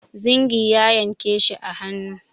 Zingi ya yanke shi a hannu.